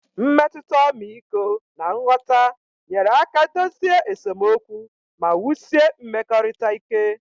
Mmetụta ọmịiko na nghọta nyere aka dozie esemokwu ma wusie mmekọrịta ike